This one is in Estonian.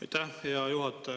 Aitäh, hea juhataja!